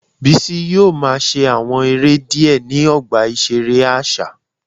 Bisi yoo ma ṣe awọn ere diẹ ni ọgba iṣere aṣa